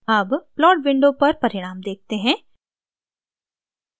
अब plot window पर परिणाम देखते हैं